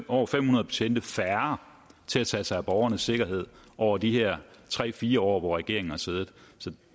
over fem hundrede betjente færre til at tage sig af borgernes sikkerhed over de her tre fire år regeringen har siddet så